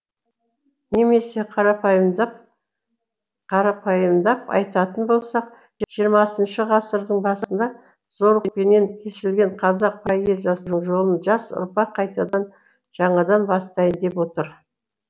немесе қарапайымдап айтатын болсақ жиырмасыншы ғасырдың басында зорлықпенен кесілген қазақ поэзиясының жолын жас ұрпақ қайтадан жаңадан бастайын деп отыр